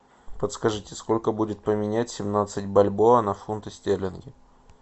подскажите сколько будет поменять семнадцать бальбоа на фунты стерлинги